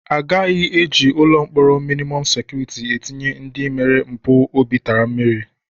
Agaghị eji ụlọ mkpọrọ mịnịmọm sekuriti etinye ndị mere mpụ obi tara mmiri.